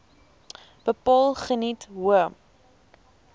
bepaal geniet hoë